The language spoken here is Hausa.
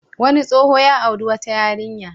Wani tsoho ya auri wata yarinya.